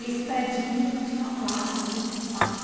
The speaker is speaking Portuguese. E esse predinho tinha uma placa, aluga-se um quarto.